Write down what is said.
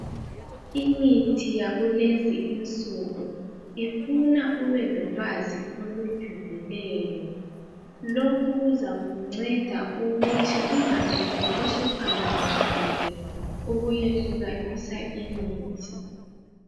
Imithi yakulezi insuku ifuna ube lolwazi olujulileyo. Lokhu kuzakunceda ukuthi ungazitholi suphambanisile ukuyehlukanisa imithi.